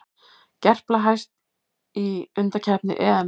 Gerpla hæst í undankeppni EM